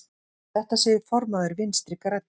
Þetta segir formaður Vinstri grænna.